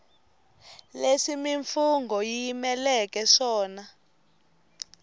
leswi mimfungho yi yimeleke swona